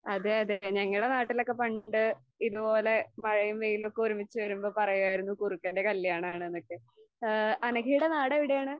അതെ അതെ. ഞങ്ങടെ നാട്ടിലൊക്കെ പണ്ട് ഇതുപോലെ മഴയും വെയിലൊക്കെ ഒരുമിച്ച് വരുമ്പോ പറയുവായിരുന്നു കുറുക്കൻറെ കല്യാണമാണെന്നൊക്കെ. ആ അനഘേടെ നാട് എവിടെയാണ്?